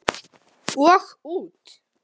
Og út.